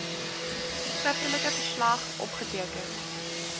skriftelike verslag opgeteken